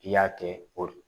I y'a kɛ o